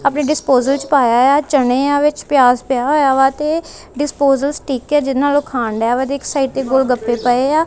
ਆਪਣੇ ਡਿਸਪੋਜ਼ਲਸ ਚ ਪਾਇਆ ਆ ਚਨੇ ਆ ਵਿੱਚ ਪਿਆਜ਼ ਪਿਆ ਹੋਇਆ ਵਾ ਤੇ ਡਿਸਪੋਜ਼ਲਸ ਠੀਕ ਹੈ ਜਿਹਦੇ ਨਾਲ ਓਹ ਖਾਣਡੀਆ ਵਾ ਤੇ ਇੱਕ ਸਾਈਡ ਗੋਲਗੱਪੇ ਪਏ ਆ।